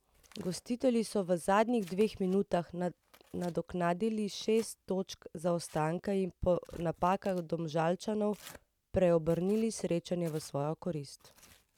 Gostitelji so v zadnjih dveh minutah nadoknadili šest točk zaostanka in po napakah Domžalčanov preobrnili srečanje v svojo korist.